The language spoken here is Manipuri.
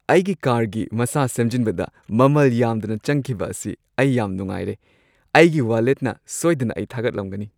ꯑꯩꯒꯤ ꯀꯥꯔꯒꯤ ꯃꯁꯥ ꯁꯦꯝꯖꯤꯟꯕꯗ ꯃꯃꯜ ꯌꯥꯝꯗꯅ ꯆꯪꯈꯤꯕ ꯑꯁꯤ ꯑꯩ ꯌꯥꯝ ꯅꯨꯡꯉꯥꯏꯔꯦ; ꯑꯩꯒꯤ ꯋꯥꯂꯦꯠꯅ ꯁꯣꯏꯗꯅ ꯑꯩ ꯊꯥꯒꯠꯂꯝꯒꯅꯤ ꯫